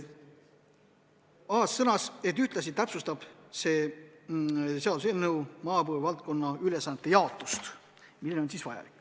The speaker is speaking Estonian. Aas sõnas, et ühtlasi täpsustab see eelnõu maapõue valdkonna ülesannete jaotust.